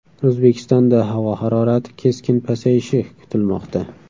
O‘zbekistonda havo harorati keskin pasayishi kutilmoqda.